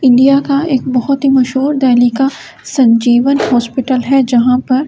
India का एक बहुत ही मशहूर डेल्ही का संजीवन हॉस्पिटल है जहाँ पर --